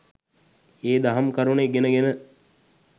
ඒ දහම් කරුණු ඉගෙන ගෙන